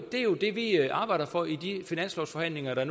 er jo det vi arbejder for i de finanslovsforhandlinger der